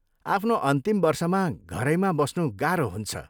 आफ्नो अन्तिम वर्षमा घरैमा बस्नु गाह्रो हुन्छ।